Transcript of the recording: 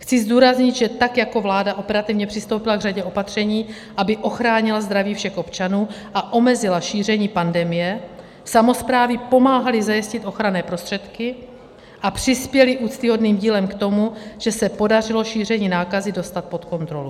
Chci zdůraznit, že tak jako vláda operativně přistoupila k řadě opatření, aby ochránila zdraví všech občanů a omezila šíření pandemie, samosprávy pomáhaly zajistit ochranné prostředky a přispěly úctyhodným dílem k tomu, že se podařilo šíření nákazy dostat pod kontrolu.